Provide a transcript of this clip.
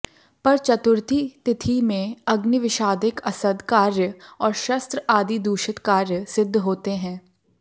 पर चतुर्थी तिथि में अग्निविषादिक असद् कार्य और शस्त्र आदि दूषित कार्य सिद्ध होते हैं